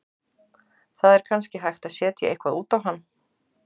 Það er kannski hægt að setja eitthvað út á hann.